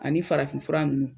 Ani farafin fura nunnu